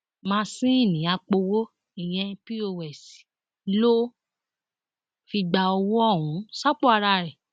másìnnì àpòwò ìyẹn pọs ló fi gba owó ọhún sápò ara ẹ